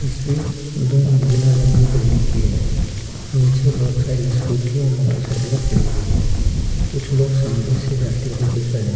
तस्वीर दो मंजिला लंबी बिल्डिंग की है नीचे बहुत सारी स्कूटी और मोटरसाइकिलें खड़ी हुई हैं कुछ लोग सामने से जाते हुए दिख रहे हैं।